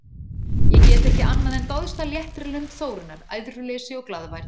Ég get ekki annað en dáðst að léttri lund Þórunnar, æðruleysi og glaðværð.